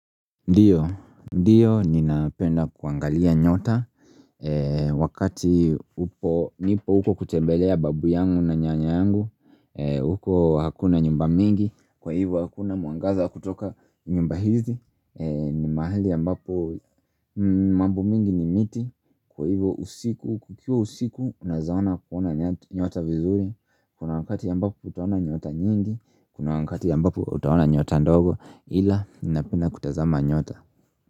Ndiyo, ndiyo ninapenda kuangalia nyota Wakati upo, nipo huko kutembelea babu yangu na nyanya yangu huko hakuna nyumba mingi, kwa hivyo hakuna mwangaza kutoka nyumba hizi ni mahali ambapo mambo mingi ni miti. Kwa hivyo usiku, kukiwa usiku unaweza ona kuona nyota vizuri. Kuna wakati ambapo utaona nyota nyingi. Kuna wakati ambapo utaona nyota ndogo ila ninapenda kutazama nyota.